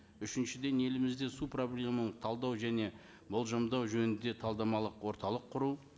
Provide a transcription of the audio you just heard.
үшіншіден елімізде су проблеманы талдау және болжамдау жөнінде талдамалық орталық құру